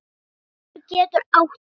Tarfur getur átt við